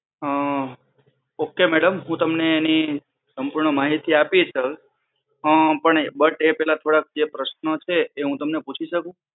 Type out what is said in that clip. અમ okay madam હુ તમને એની સંપૂર્ણ માહિતી આપીશ જ. અમ પણ એ બટ એ પેલા થોડાક જે પ્રશ્ન છે એ હુ તમને પૂછી શકૂ?